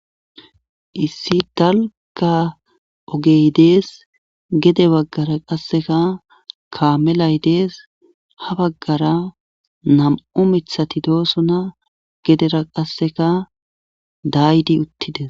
issi dalka ogey dees gede baggara qasseka kaamelay dees ha baggara nam7u mithati doosona gedera qasseka daydi uttides